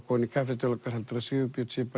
kominn í kaffi til okkar heldurðu að Sigurbjörn sé